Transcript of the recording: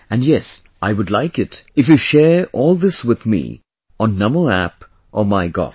And yes, I would like it if you share all this with me on Namo App or MyGov